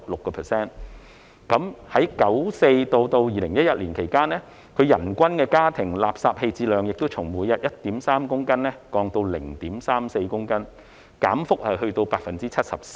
在1994年至2011年間，人均家庭垃圾棄置量亦從每日 1.3 公斤降至 0.34 公斤，減幅達 74%。